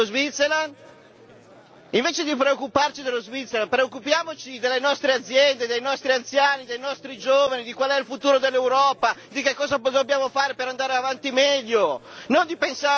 Invece di preoccuparci dello Swaziland, preoccupiamoci delle nostre aziende, dei nostri anziani, dei nostri giovani, di qual è il futuro dell'Europa, di che cosa dobbiamo fare per andare avanti meglio, non di paesi sconosciuti!